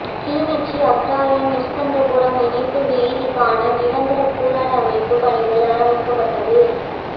கிளிநொச்சி அக்கராயன் ஸ்கந்தபுரம் இணைப்பு வீதிக்கான நிரந்தர புனரமைப்பு பணிகள் ஆரம்பிக்கப்பட்டது